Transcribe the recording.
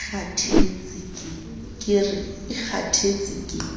ka re e kgathetse ke